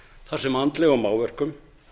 þar sem andlegum áverkum